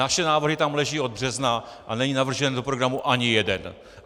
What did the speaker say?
Naše návrhy tam leží od března a není navržen do programu ani jeden.